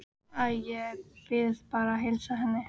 Æ, ég bið bara að heilsa henni